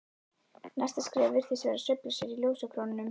Næsta skref virtist vera að sveifla sér í ljósakrónunum.